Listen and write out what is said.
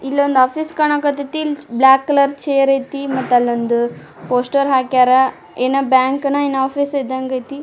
ಇಲ್ಲೊಂದ್ ಆಫೀಸ್ ಕಾಣಕತ್ತತಿ ಇಲ್ಲಿ ಬ್ಲಾಕ್ ಕಲರ್ ಚೇರ್ ಆಯ್ತಿ ಮತ್ತೆ ಅಲ್ಲೊಂದು ಪೋಸ್ಟರ್ ಹಾಕ್ಯರ್ ಏನ್ ಬ್ಯಾಂಕ್ ನ ಏನೋ ಆಫೀಸ್ ಇದಂಗ್ ಆಯ್ತಿ.